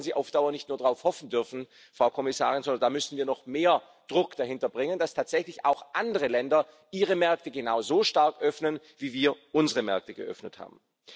Und da sollten sie auf Dauer nicht nur darauf hoffen dürfen, Frau Kommissarin, sondern da müssen wir noch mehr Druck dahinter bringen, dass tatsächlich auch andere Länder ihre Märkte genauso stark öffnen, wie wir unsere Märkte geöffnet haben.